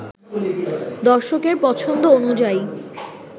দর্শকের পছন্দ অনুযায়ী